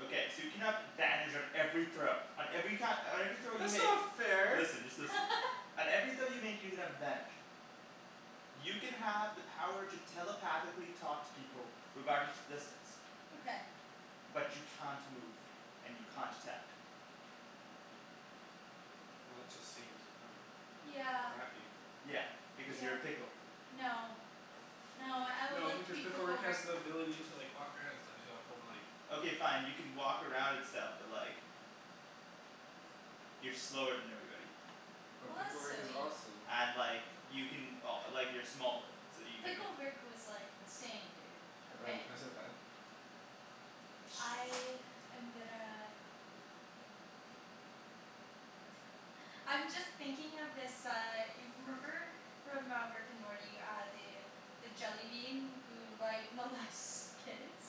Okay, so you can have advantage on every throw on every ki- on every throw you That's make. not fair! Listen, just listen. On every throw you make you can have advantage. You can have the power to telepathically talk to people regardless of distance. Okay. But you can't move, and you can't attack. Well that just seems kind of Yeah. crappy. Yeah, because you're Yeah. a pickle. No. No, I would No like to because be Pickle Pickle Rick has Rick. the ability to like walk around and stuff. He's all full body. Okay fine, you can walk around and stuff, but like you're slower than everybody. But Well, Pickle that's Rick is silly. awesome. And like you can o- like you're smaller so you can Pickle Rick was like insane, dude, Ryan, okay. pass me the fan? I am gonna I'm just thinking of this uh y- remember from uh Rick and Morty uh the the jellybean who like molests kids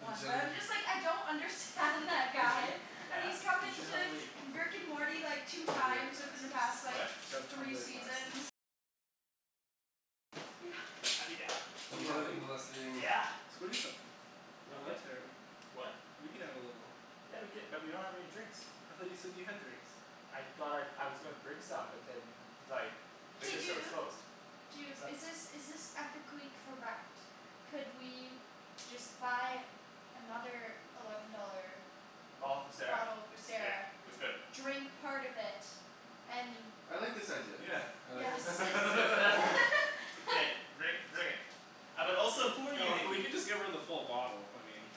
The jellybeans Arjan, Yeah you should have like What? Yeah. I'd be down. Do And you mole- have any? molesting Yeah. Let's go eat them. We're Okay. allowed sharing? What? We can have a little Yeah we cou- but we don't have any drinks. I thought you said that you had drinks. I thought I, I was gonna bring some but then like Hey liquor store was dude, closed. dude is Sup? this is this ethically correct? Could we just buy another eleven dollar Bottle for Sarah? bottle for Yeah Sarah, we could. drink part of it, and I like this idea. Yeah. I like Yes this idea. Let's do it. K, bring bring it. Uh but also who are you No we Nikki? can just give her the full bottle, I mean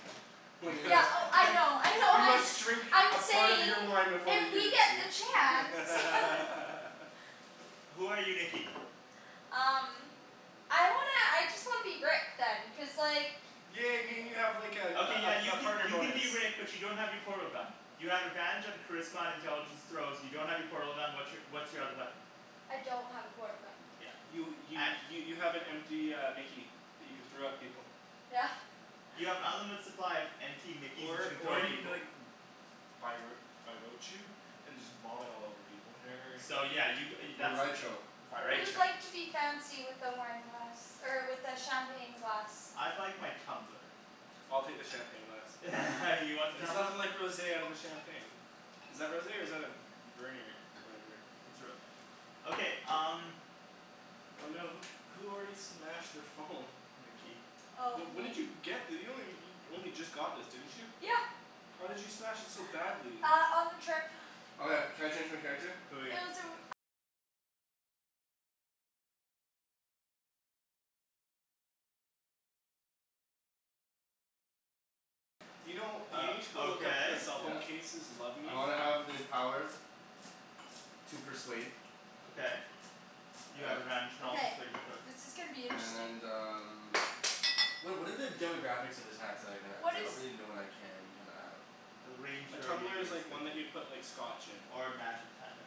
I We mean gonna Yeah oh I know I we know, I'm must drink a I'm part of saying your wine before we if give we it get to you the chance no Who are you Nikki? Um I wanna, I just wanna be Rick then, cuz like Yeah I mean you have like Okay yeah a a you a can partner you can bonus. be Rick but you don't have your portal gun. You have advantage on charisma and intelligence throws, you don't have your portal gun, what's your what's your other weapon? I don't have a portal gun. Yeah. You y- y- you have an empty uh mickey that you can throw at people. Yeah. You have an unlimited supply of empty mickeys that you Or can throw or at you can be people. like and just vomit all over people. Or whatever. So yeah you g- uh you that's what- Who would like to be fancy with the wine glass er with the champagne glass? I'd like my tumbler. I'll take the champagne glass. You want the There's tumbler? nothing like rosé out of a champagne. Is that rosé or is that a v- v- vernier whatever? It's rosé. Okay, um Oh no, who who already smashed their phone? Nikki. Oh Wh- when did me. you get this? You only you only just got this didn't you? Yeah. How did you smash it so badly? Uh on the trip. Okay, can I change my character? Who are you? You know you Uh, need to go look at the okay. cell phone Yeah. cases "Love I me." wanna have the power to persuade Okay, you have advantage on all Okay, persuasion throws. this is gonna be interesting. and um Wha- what are the demographics of attacks that I can have? Cuz What I is don't really know what I can and cannot have. It'll rain A here tumbler is immediately. like one that you put like scotch in. Or magic, kinda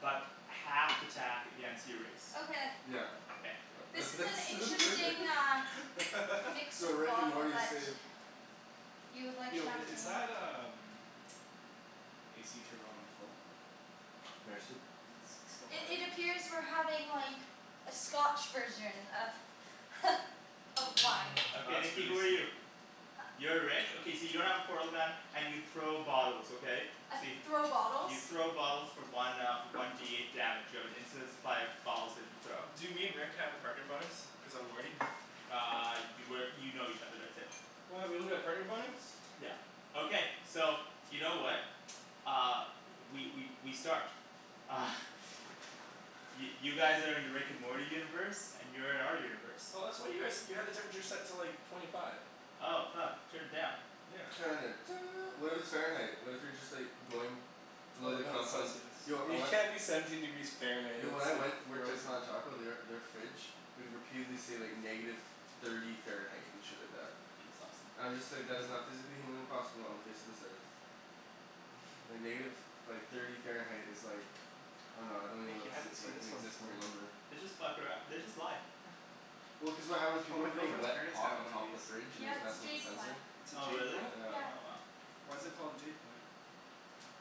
but half th- attack against your race Okay. Yeah. Okay, yeah. This That's is that's an that's interesting perfect uh mix Yo, of a Rick and bottle Morty is but safe. You would like Yo i- is champagne that um AC turned on full? Merci. Cuz it's it's still I- hot in It here. appears we're having like a scotch version of of wine. Okay That's Nikki really who are you? sleep. You're Rick? Okay so you don't have a portal gun and you throw bottles, okay? So you Throw bottles? You throw bottles for one uh one D eight damage. You have an infinite supply of bottles that you throw. Do me and Rick have a partner bonus cuz I'm Morty? Uh you work, you know each other, that's it. What? We don't get a partner bonus? Yeah. Okay, so you know what? Uh, we we we start. Uh Y- you guys are in the Rick and Morty universe, and you're in our universe. Oh that's what you guys you had the temperature set to like twenty five. Oh fuck. Turn it down. Yeah. Turn it do- what if it's Fahrenheit? What if you're just like going below Well the no, it's confines, Celcius. yo I You wan- can't be seventeen degrees Fahrenheit; Yo when I that's like went worked at frozen. Taco they are their fridge would repeatedly say like negative thirty Fahrenheit and shit like that. That's awesome. I'm just like, that is not physically humanly possible on the face of this earth. Like negative, like thirty Fahrenheit is like I dunno, I don't even know how Nikki, to I say, hadn't seen like an this one before. inexistable number. They just fuck arou- they just lie Well cuz of how those people Oh were my putting girlfriend's wet parents pot have on one of top of these. the fridge and it Yeah was it's a messing with the jade plant. sensor. It's a Oh jade really? plant? Yeah. Oh wow. Why is it called a jade plant?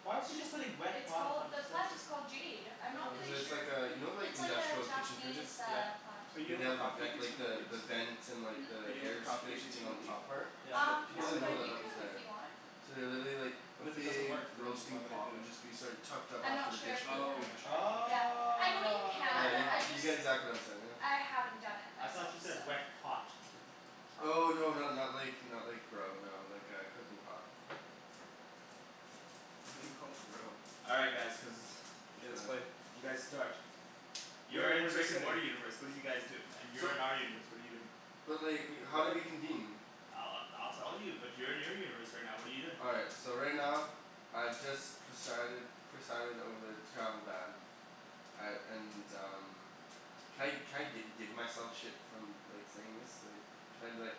Why would you go Just putting wet it's pot on top called, of the a plant sensor? is called jade. I'm not Cuz Oh. really it's sure. like uh, you know like It's like a industrial kitchen Japanese fridges? Yeah. uh plant. Are you Way, able they to have the ven- propagate these like from the the leaves? the vent and Hmm? Are the you able to air propagate circulation these thing from on a the leaf? top part? Is Yeah. Um it People no a didn't know second but that you one? that was can if there. you want. So they literally like, a But if it doesn't big work then why roasting would I do pot would it? just be sort of tucked up I'm after not the sure dish if you pit. Oh, you're can. not Oh sure? Okay. Yeah. I know you Yeah can, y- I wow. you just, get exactly what I'm saying now. I haven't done it I thought myself, you so said "wet pot". Oh no not not like not like grow, no. Like a cooking pot. Why do you call it grow? All right guys. Cuz it's K, let's play. bad. You guys start. You're Where in the where's our Rick and setting? Morty universe, what are you guys doing? And you're So in our universe, what are you doing? But like, Wait, how do what? we convene? I'll I'll I'll tell you, but you're in your universe right now, what are you doing? All right, so right now, I've just presided presided over the travel ban. I and um Can I can I gi- give myself shit from like saying this? Like, can I be like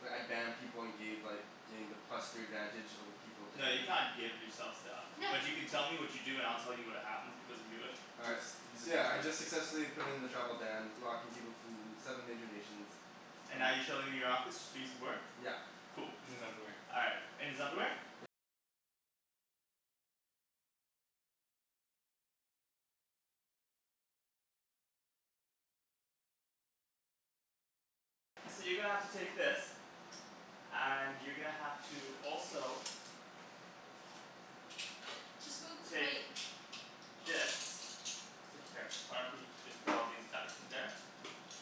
like I ban people and gave like gain the plus three advantage over people No, you definitive can't give yourself stuff, but you can tell me what you do and I'll tell you what happened as you do it. All right, Cuz he's a so yeah I dungeon just master. successfully put in the travel ban, blocking people from them seven major nations. And Um now you're chilling in your office just doing some work? Yeah. Cool. In his underwear. All right, in his underwear? And you're gonna have to also Just move the take plate. this. That's it here. Why don't we just put all these dice in there.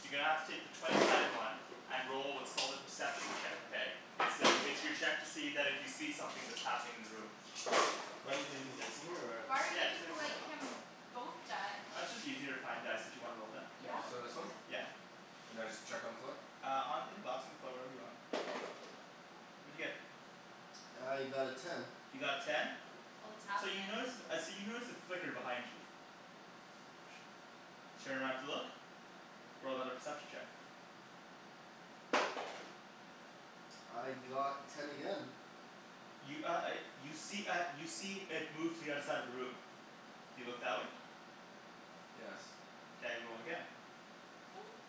You're gonna have to take the twenty sided one and roll what's called a perception check, okay? It's to it's your check that if you see something that's happening in the room. Do I need to leave these dice in here or? Why are you Yeah, just leave giving them in there. like him both die? Uh it's just easier to find dice that you wanna roll then. You have Yeah? a lot of So this one? choices. Okay. Yeah. And I just chuck on the floor? Uh on in the box in the floor, wherever you want. What'd you get? I got a ten. You got a ten? Oh it's So you happenin' notice uh so you notice a flicker behind you. You turn around to look. Roll another perception check. I got ten again. You uh uh you see uh you see it move to the other side of the room. Do you look that way? Yes. Mkay, roll again.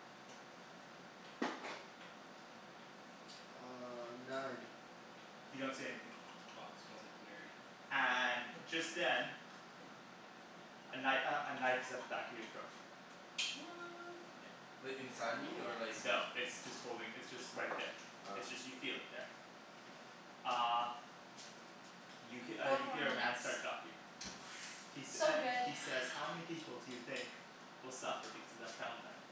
Uh nine. You don't see anything. This box smells like nerd. And just then A kni- uh a knife is at the back of your throat. What! Yeah. Like, I wonder how inside many me or minutes. like there? No. It's just holding, it's just right there. Ah. It's just you feel it there. Uh You he- uh Four you more hear a man minutes. start talking. He sa- So uh good. he says "How many people do you think will suffer because of that travel ban?"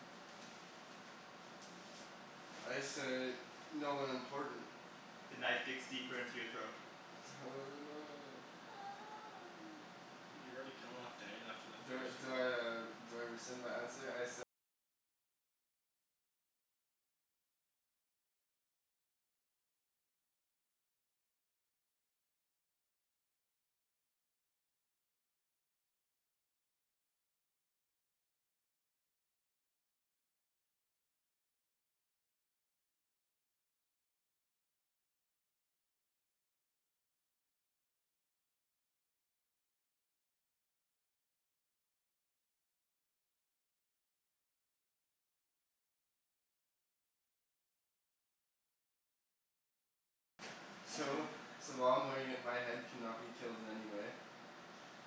I say "no one important." The knife digs deeper into your throat. Oh no. You're already killing off Daniel after the first roll? So so while I'm wearing it my head cannot be killed in any way.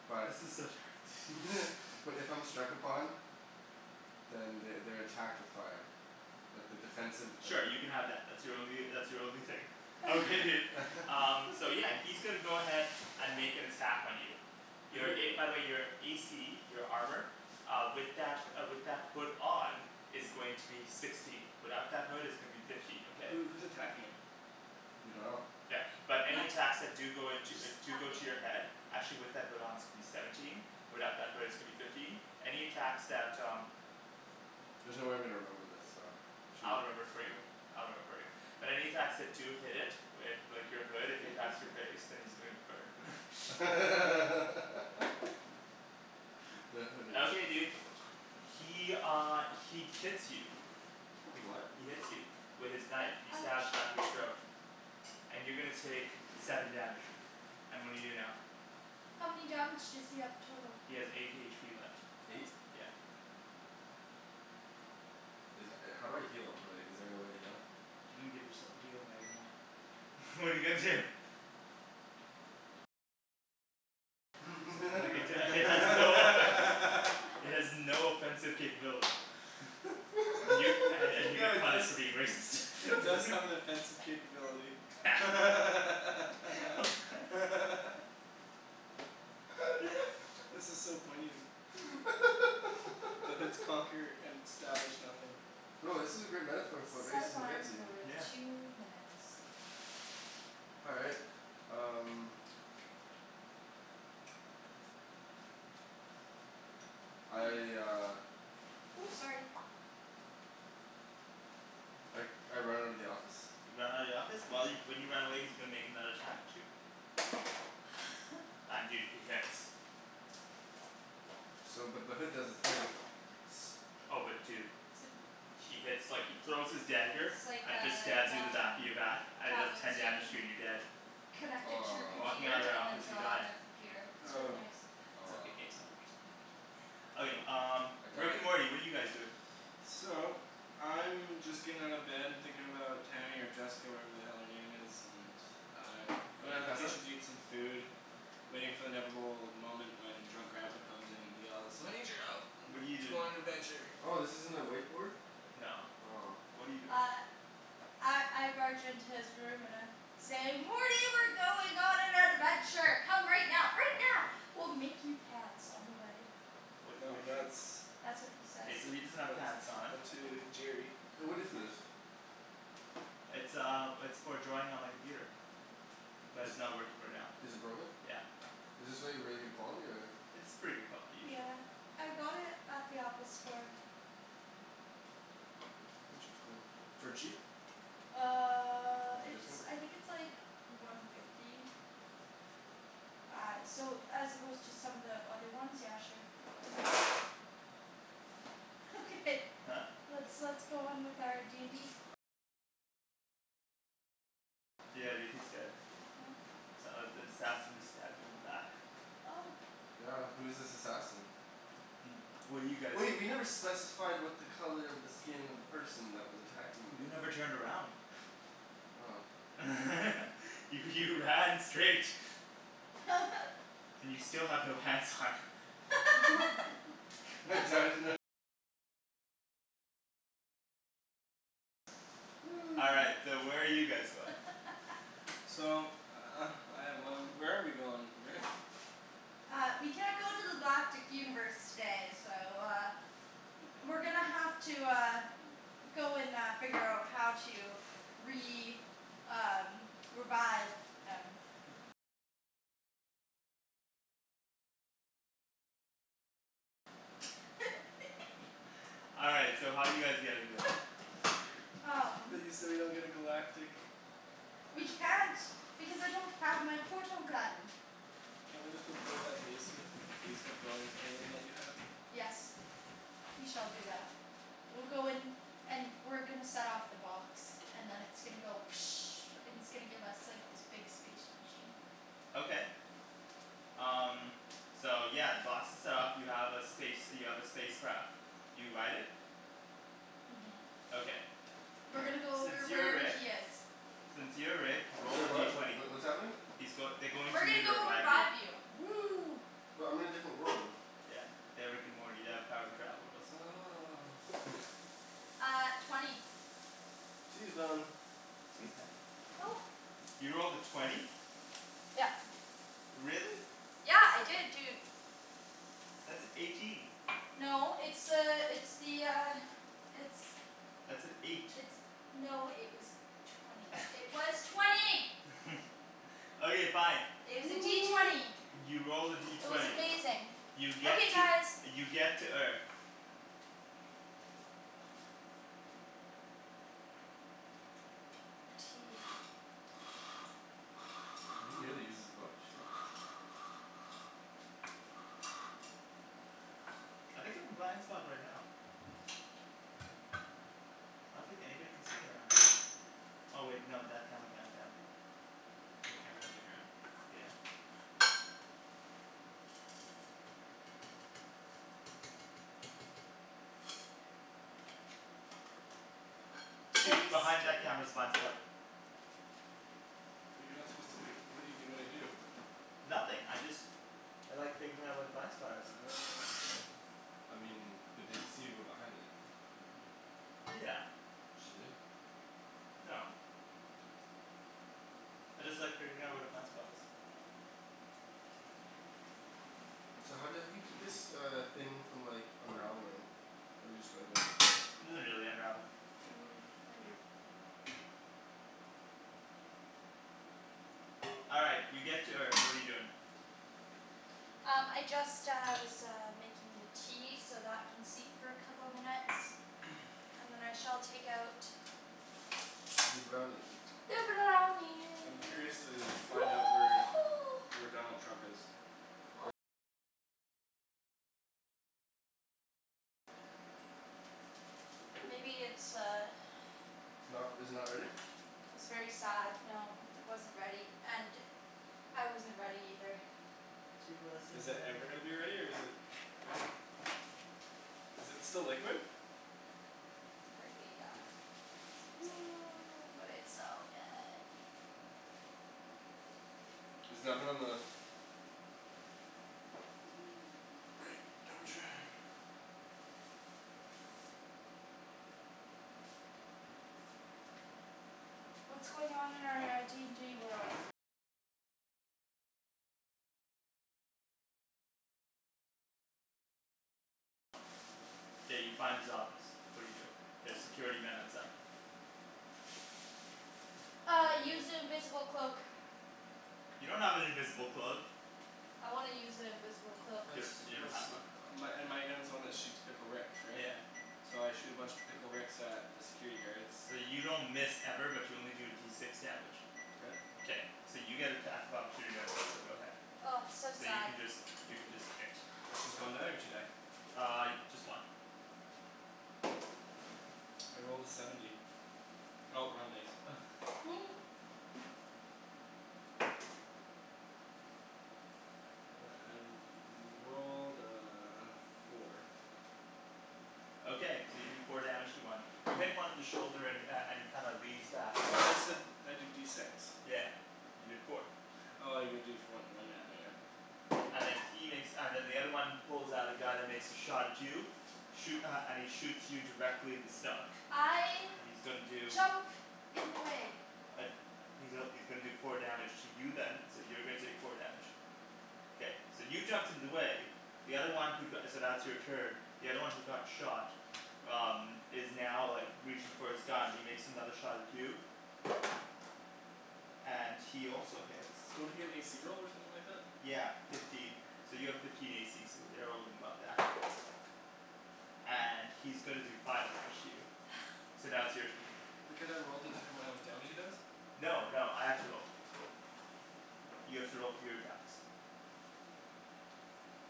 But This is so terrible but if I'm struck upon Then they they're attacked with fire. Like the defensive abil- Sure, you can have that. That's your only uh that's your only thing. Okay dude, um so yeah he's gonna go ahead and make an attack on you. Wait, Your who a, by wh- the way your a c, your armor Uh with that uh with that hood on is going to be sixteen. Without that hood it's going to be fifteen, okay? Who who's attacking him? We dunno. Yeah, but any attacks that do go into uh Just do go to attacking. your head actually with that hood on is going to be seventeen, without that hood it's gonna be fifteen. Any attacks that um There's no way I'm gonna remember this so should I'll remember it for we you, uh I'll remember it for you. But any attacks that do hit it with like your hood, if he attacks your face, then he's gonna burn the hooded Okay, dude. He uh he kits you. He what? He hits you. With his knife. He stabs the Ouch. back of your throat. And you're gonna take seven damage. And what do you do now? How many damage does he have total? He has eight h p left. Eight. Yeah. Is that, uh how do I heal? Like, is there no way to heal? You didn't give yourself a healing item though. What're you gonna do? Like it uh it has no effect It has no offensive capability. Y- and and you No get it does punished for being racist it does have an offensive capability This is so poignant. The hoods conquer and establish nothing. Yo, this is a great metaphor for what Set racism gets alarm you. for two minutes. All right, um I uh Ooh, sorry. I I run out of the office You run out of the office? While you, when you run away he's gonna make another attack at you. And dude, he hits. So but the hood does the thing. Yes. Oh but dude. So He hits like, he throws his dagger It's like and it just a stabs you in the back Wacom in your back and it does tablet ten so you damage to you can and you're dead. connect it to your Walking Aw computer out of that and then office you draw die. on your computer. It's really Oh. nice. It's okay, what you Aw said. Okay Okay. um I Rick and died. Morty, what are you guys doing? So, I'm just getting out of bed and thinking about Tammy or Jessica or whatever the hell her name is, and I'm Oh going can you down to the pass that? kitchen to eat some food. Waiting for the inevitable moment when drunk grandpa comes in and yells "I need your help What're you let's go doing? on an adventure!" Oh this isn't a whiteboard? No. Aw What're you doing? Uh I I barge into his room and I say "Morty we're going on an adventure. Come right now, right now. We'll make you pants on the way." What No what do you that's That's what he says. K, so he doesn't have But pants on. but to Jerry Hey what is this? It's um it's for drawing on my computer. But Is it's not working right now. is it broken? Yeah. Is this like really good quality or? It's pretty good quality usually. Yeah, I got it at the Apple store. Interesting. For cheap? Uh With your it's, discount? I think it's like one fifty. Uh so as opposed to some of the other ones, yeah sure. Okay, Huh? let's let's go on with our d n d Yeah dude, he's dead. Oh S- uh, an assassin just stabbed him in the back. Oh Yeah, who's this assassin? What do you guys Wait, we never specified what the color of the skin of the person that was attacking me You was. never turned around. Oh. You you ran straight. You still have no pants on. All right, so where are you guys going? So I have one, where are we going, Rick? Uh we can't go to the galactic universe today so uh We're gonna have to uh go and uh figure out how to re- um revive him. All right, so how are you guys getting there? um We so we don't get a galactic We can't because I don't have my portal gun. Can't we just go play with that basement the basement dwelling alien that you have? Yes. We shall do that. We'll go and and we're gonna set off the box. And then it's gonna go and it's gonna give us like this big space machine. Okay. Um so yeah, the box is set off. You have a space you have a space craft. You ride it. Mhm. Okay. We're gonna go Since over you're wherever Rick. he is. Since you're Rick, roll the Sorry D what? Wh- twenty. wh- what's happening? He's goi- they're going We're to you gonna to go revive you. revive you. Woo but I'm in a different world. Yeah. They're Rick and Morty. They have the power to travel worlds. Oh Uh twenty Tea is done. Tea's done. Oh. You rolled a twenty? Yep. Really? Yeah. I did dude. That's an eighteen. No it's uh it's the uh it's That's an eight. It's no it was twenty. It was twenty! Okay, fine. It was a D twenty. You rolled a D It was twenty. amazing. You get Okay to guys. you get to Earth. Tea. You really use this book? Shit. I think I'm a blind spot right now. I don't think anybody can see me right now. Oh wait, no that camera can, damn. There are cameras on the ground? Yeah. Dude, behind that camera's Tasty. a blind spot. But you're not supposed to b- what're you gonna do? Nothing, I just I like figuring out where the blind spot is. Oh okay. I mean, but they'd see you go behind it. Yeah. Should we? No. I just like figuring out where the blind spot is. So how do you how do you keep this uh thing from like unraveling? Or do you just go like this? It doesn't really unravel. Mm, maybe a bit more. All right, you get to Earth. What are you doing? Um I just uh was uh making the tea, so that can steep for a couple minutes. And then I shall take out Zee brownies. the I'm brownie curious to find out where where Donald Trump is. Maybe it's uh Not r- is it not ready? It was very sad, no. It wasn't ready, and I wasn't ready either. He wasn't Is that ready. ever gonna be ready or is it Is it still liquid? Apparently yeah, seems like it. But it's so good. Is the oven on the right temperature? K, you find his office. What do you do? There's security men outside. Uh, I use the invisible cloak. You don't have an invisible cloak. I wanna use an invisible cloak. You Let's don- you don't let's, have one. my and my gun's the one that shoots Pickle Ricks, right? Yeah. So I shoot a bunch of Pickle Ricks at the security guards. So you don't miss ever, but you only do D six damage. K. K, so you get attack of opportunity right now, so go ahead. Oh so So you sad. can just you can just hit. It's just one die or two die? Uh, just one. I rolled a seventy. Oh wrong dice. I rolled a four. Okay, so you do four damage to one. You hit one in the shoulder and uh and he kind of leans back. I thought you said I do D six. Yeah, you did four. Oh you gotta do for when Yeah. when oh yeah. And then he makes, and then the other one pulls out a gun and makes a shot at you. Shoo- uh, and he shoots you directly in the stomach. I And he's gonna do jump in the way. Uh he's a- he's gonna do four damage to you then, so you're gonna take four damage. Okay. K, so you jumped in the way, the other one who go- so that's your turn. The other one who got shot um is now like reaching for his gun and he makes another shot at you and he also hits. Don't I get an a c roll or something like that? Yeah, fifteen. So you have fifteen a c so you're And he's gonna do five damage to you. So now it's your turn. But can't I roll to determine how much damage he does? No, no, I have to roll. You have to roll for your attacks.